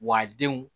Wa denw